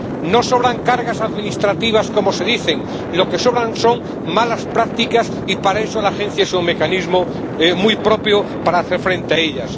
No sobran cargas administrativas, como se dice, lo que sobran son malas prácticas y, para eso, la agencia es un mecanismo muy propio para hacer frente a ellas.